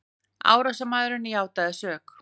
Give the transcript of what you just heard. Árásarmaðurinn játaði sök